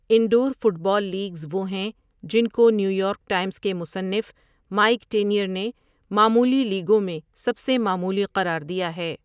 Indore football leagues وہ ہیں جن کو نیویارک ٹائمز کے مصنف مائیک ٹینیئر نے 'معمولی لیگوں میں سب سے معمولی' قرار دیا ہے۔